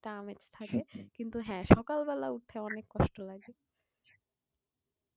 টা আমেজ থাকে কিন্তু হ্যাঁ সকাল বেলা উঠতে অনেক কষ্ট লাগে।